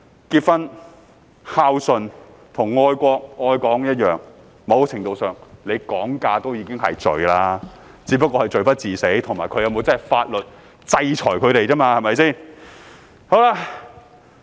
結婚、孝順和愛國、愛港一樣，"講價"在某程度上已是罪，只是罪不至死，以及他們會否真的受到法律制裁而已。